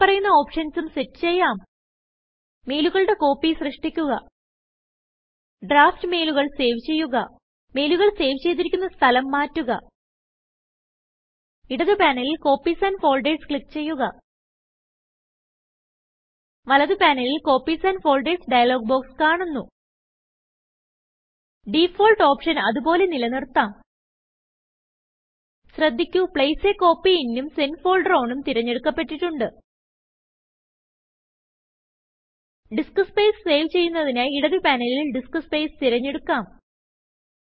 താഴെ പറയുന്ന ഓപ്ഷൻസും സെറ്റ് ചെയ്യാം മെയിലുകളുടെ കോപ്പി സൃഷ്ടിക്കുക ഡ്രാഫ്റ്റ് മെയിലുകൾ സേവ് ചെയ്യുക മെയിലുകൾ സേവ് ചെയ്തിരിക്കുന്ന സ്ഥലം മാറ്റുക ഇടത് പാനലിൽ കോപ്പീസ് ആൻഡ് ഫോൾഡേർസ് ക്ലിക്ക് ചെയ്യുക വലത് പാനലിൽ കോപ്പീസ് ആൻഡ് Foldersഡയലോഗ് ബോക്സ് കാണുന്നു ഡിഫാൾട്ട് ഓപ്ഷൻ അത് പോലെ നിലനിർത്താം ശ്രദ്ധിക്കു പ്ലേസ് a കോപ്പി ഇൻ ഉം സെന്റ് ഫോൾഡർ ഓൺ ഉം തിരഞ്ഞെടുക്കപെട്ടിട്ടുണ്ട് ഡിസ്ക് സ്പേസ് സേവ് ചെയ്യുന്നതിനായി ഇടത് പാനലിൽ ഡിസ്ക് Spaceതിരഞ്ഞെടുക്കാം